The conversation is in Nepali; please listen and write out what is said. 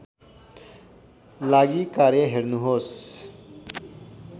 लागि कार्य हेर्नुहोस्